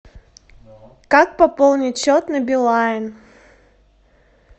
как пополнить счет на билайн